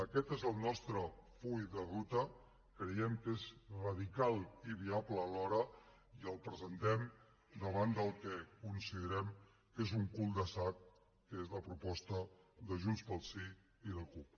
aquest és el nostre full de ruta creiem que és radical i viable alhora i el presentem davant del que considerem que és un cul de sac que és la proposta de junts pel sí i la cup